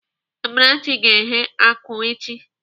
Amarachi ga-eghe akụ echi.